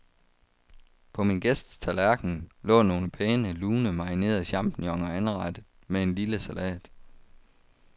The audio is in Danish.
På min gæsts tallerken lå nogle pæne, lune, marinerede champignoner anrettet med en lille salat.